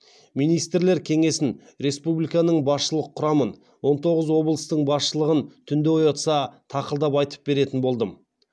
министрлер кеңесін республиканың басшылық құрамын он тоғыз облыстың басшылығын түнде оятса тақылдап айтып беретін болдым